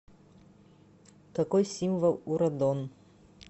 какой символ у радон